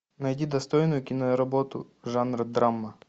найди достойную киноработу жанра драма